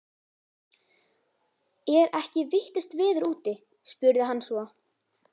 Er ekki vitlaust veður úti? spurði hann svo.